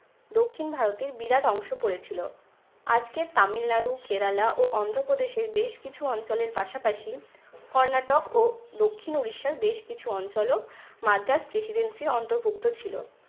দক্ষিণ ভারতের বিরাট অংশ পড়ে ছিল। আজকের তামিল নাড়ু, কেরালা ও অন্ধ প্রদেশের বেশ কিছু অঞ্চলের পাশাপাশি কর্ণাটক ও দক্ষিণ উড়িষ্যার বেশ কিছু অঞ্চলও মাদ্রাজ prediency র অন্তর্ভুক্ত ছিল।